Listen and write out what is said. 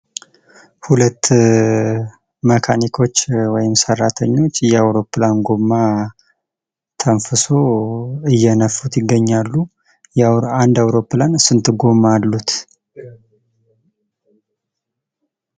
ሁለት መካኒኮች ወይም ሰራተኞች የአውሮፕላን ጎማ ተንፍሶ እየነፉት ይገኛሉ። አንድ አውሮፕላን ስንት ጎማ አሉት።